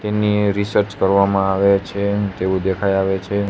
તેની રિસર્ચ કરવામાં આવે છે તેવું દેખાય આવે છે.